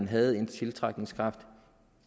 havde en tiltrækningskraft